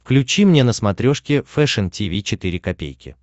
включи мне на смотрешке фэшн ти ви четыре ка